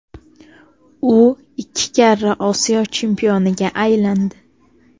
U ikki karra Osiyo chempioniga aylandi.